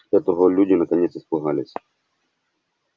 этого люди наконец испугались